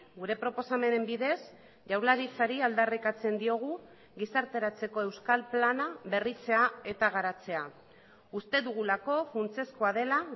gure proposamenen bidez jaurlaritzari aldarrikatzen diogu gizarteratzeko euskal plana berritzea eta garatzea uste dugulako funtsezkoa dela